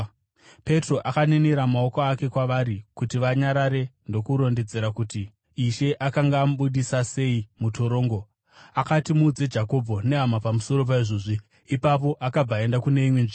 Petro akaninira maoko ake kwavari kuti vanyarare ndokurondedzera kuti Ishe akanga amubudisa sei mutorongo. Akati, “Muudze Jakobho nehama pamusoro paizvozvi.” Ipapo akabva akaenda kune imwe nzvimbo.